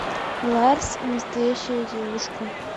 ларс и настоящая девушка